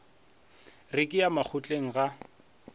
re ke ya makgotleng ga